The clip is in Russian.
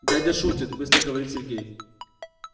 дядя шутит быстро говорит сергей